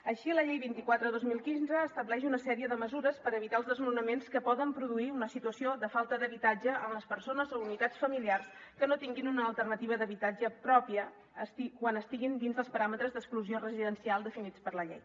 així la llei vint quatre dos mil quinze estableix una sèrie de mesures per evitar els desnonaments que poden produir una situació de falta d’habitatge en les persones o unitats familiars que no tinguin una alternativa d’habitatge pròpia quan estiguin dins dels paràmetres d’exclusió residencial definits per la llei